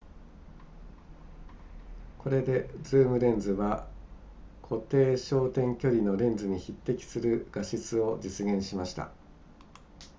これでズームレンズは固定焦点距離のレンズに匹敵する画質を実現しました